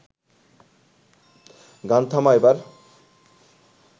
গান থামা এবার